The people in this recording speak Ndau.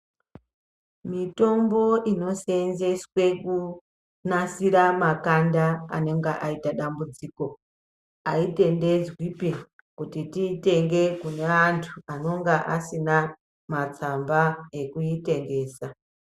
Mitombo inosenzeswe kunasira makanda anenge ayita dambudziko ayitendedzwi kuti tiyitenge kune antu anenge asina matsamba ekutengesa.